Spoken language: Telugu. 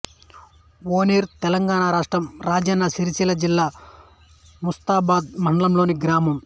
ఔనూర్ తెలంగాణ రాష్ట్రం రాజన్న సిరిసిల్ల జిల్లా ముస్తాబాద్ మండలంలోని గ్రామం